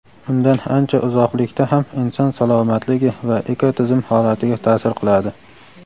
undan ancha uzoqlikda ham inson salomatligi va ekotizim holatiga ta’sir qiladi.